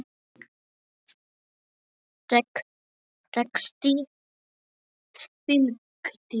Texti fylgdi.